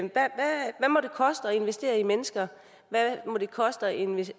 investere i mennesker hvad må det koste at investere